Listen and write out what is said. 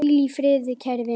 Hvíl í friði, kæri vinur.